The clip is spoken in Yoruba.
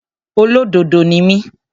Olódodo ni mí.